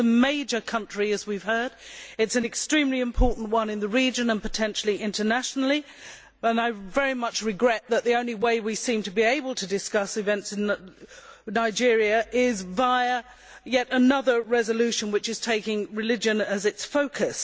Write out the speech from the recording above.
It is a major country, as we have heard, which is extremely important in the region and potentially internationally. I very much regret that the only way we seem to be able to discuss events in Nigeria is via yet another resolution which has taken religion as its focus.